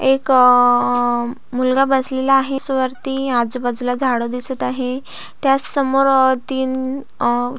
एक अ अ मुलगा बसलेला आहे आजु बाजुला झाड दिसत आहेत त्याच समोर अ तीन अ --